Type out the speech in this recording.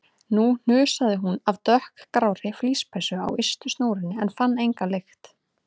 Nú hnusaði hún af dökkgrárri flíspeysu á ystu snúrunni en fann enga lykt.